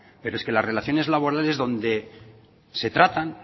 pero es que las relaciones laborales donde se tratan